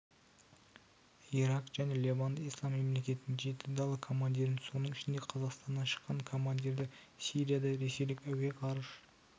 ирак және левант ислам мемлекетінің жеті дала командирін соның ішінде қазақстаннан шыққан командирді сирияда ресейлік әуе-ғарыш